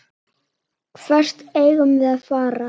Hvert eigum við að fara?